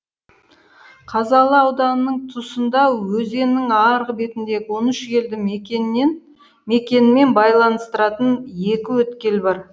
қазалы ауданының тұсында өзеннің арғы бетіндегі он үш елді мекенмен байланыстыратын екі өткел бар